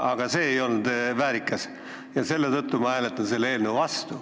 See ei olnud väärikas ja selle tõttu ma hääletan selle eelnõu vastu.